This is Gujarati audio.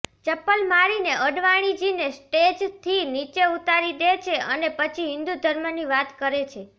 ચપ્પલ મારીને અડવાણીજીને સ્ટેજથી નીચે ઉતારી દે છે અને પછી હિંદૂ ધર્મની વાત કરે છે